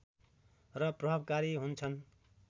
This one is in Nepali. र प्रभावकारी हुन्छन्